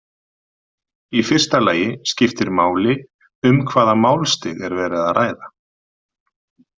Í fyrsta lagi skiptir máli um hvaða málstig er verið að ræða.